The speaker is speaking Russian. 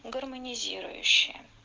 гармонизирующая